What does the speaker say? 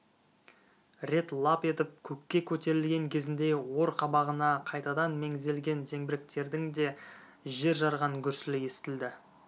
рет лап етіп көкке көтерілген кезінде ор қабағына қайтадан меңзелген зеңбіректердің де жер жарған гүрсілі естілді